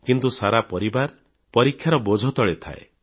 କିନ୍ତୁ ସାରା ପରିବାର ପରୀକ୍ଷାର ବୋଝ ତଳେ ଥାଏ